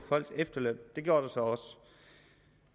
folks efterløn det gjorde der så også